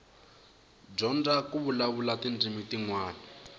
dyondza ku vulavula tindzimi tinwana